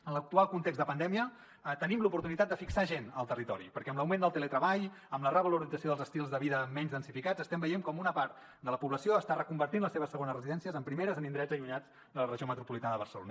en l’actual context de pandèmia tenim l’oportunitat de fixar gent al territori perquè amb l’augment del teletreball amb la revalorització dels estils de vida menys densificats estem veient com una part de la població està reconvertint les seves segones residències en primeres en indrets allunyats de la regió metropolitana de barcelona